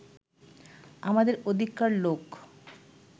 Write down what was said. আমাদের ওদিককার লোক